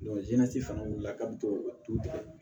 jɛnɛtigɛ fana wulila kabo du